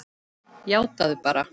Játaðu það bara!